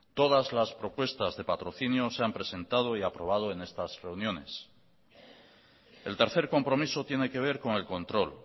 todas las propuestas de patrocinio se han presentado y aprobado en estas reuniones el tercer compromiso tiene que ver con el control